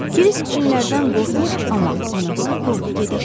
Kirsik cinlərdən qorxmur, amma anası qorxur.